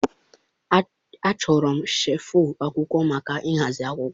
Achọrọ shelfụ̀ akwụkwọ maka ịhazi akwụkwọ.